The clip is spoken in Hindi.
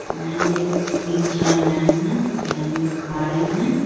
मैम लोग तीन-चार मैम हैं मैम लोग खा रहीं है।